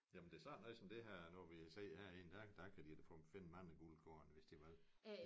Jamen det er sådan noget som det her nu vi sidder herinde der der kan de da få finde mange guldkorn hvis de vil